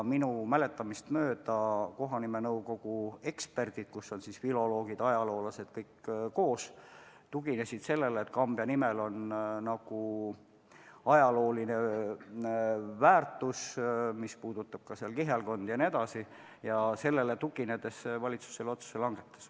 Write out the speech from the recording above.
Minu mäletamist mööda lähtusid kohanimenõukogu eksperdid, kus on koos filoloogid ja ajaloolased, sellest, et Kambja nimel on ajalooline väärtus – see on seotud näiteks kihelkonnaga jne –, ning sellele tuginedes valitsus otsuse langetaski.